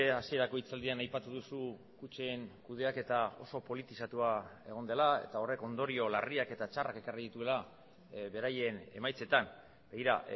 hasierako hitzaldian aipatu duzu kutxen kudeaketa oso politizatua egon dela eta horrek ondorio larriak eta txarrak ekarri dituela beraien emaitzetan begira